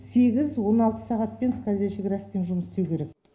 сегіз он алты сағатпен скользящий графикпен жұмыс істеу керек